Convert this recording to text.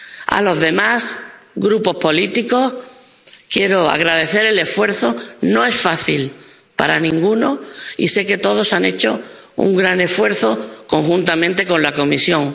A los demás grupos políticos quiero agradecerles el esfuerzo. No es fácil para ninguno, y sé que todos han hecho un gran esfuerzo, conjuntamente con la Comisión.